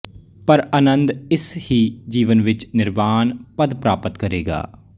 ਪਰ ਆਨੰਦ ਇਸ ਹੀ ਜੀਵਨ ਵਿੱਚ ਨਿਰਵਾਣ ਪਦ ਪ੍ਰਾਪਤ ਕਰੇਗਾ